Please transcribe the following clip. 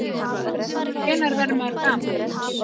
Hvenær verður maður gamall?